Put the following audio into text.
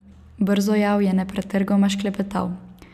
Brzojav je nepretrgoma šklepetal.